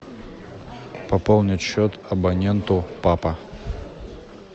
пополнить счет абоненту папа